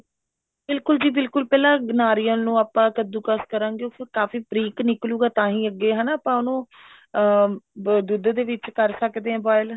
ਬਿਲਕੁਲ ਜੀ ਬਿਲਕੁਲ ਪਹਿਲਾਂ ਨਾਰੀਅਲ ਨੂੰ ਆਪਾਂ ਕੱਦੂ ਕਸ਼ ਕਰਾਂਗੇ ਉਹ ਕਾਫੀ ਬਰੀਕ ਨਿਕਲੁਗਾ ਤਾਂਹੀਂ ਅੱਗੇ ਹਨਾ ਆਪਾਂ ਉਹਨਾ ਨੂੰ ਅਮ ਦੁੱਧ ਦੇ ਵਿੱਚ ਕਰ ਸਕਦੇ ਹਾਂ boil